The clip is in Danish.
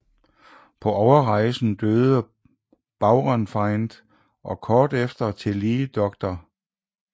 På overrejsen døde Baurenfeind og kort efter tillige dr